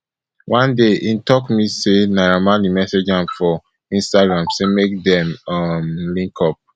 one day im tok me say naira marley message am for instagram say make dem um link up